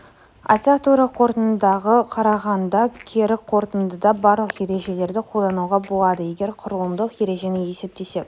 айтсақ тура қорытындыға қарағанда кері қорытындыда барлық ережелерді қолдануға болады егер құрылымдық ережені есептесек